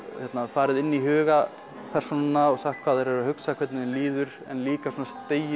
farið inn í huga persónanna og sagt hvað þær eru að hugsa og hvernig þeim líður en líka svona